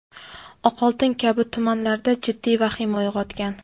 Oqoltin kabi tumanlarda jiddiy vahima uyg‘otgan.